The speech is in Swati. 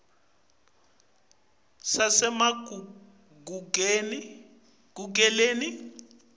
sasemagugeleni